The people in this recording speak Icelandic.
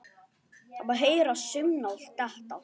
Það má heyra saumnál detta.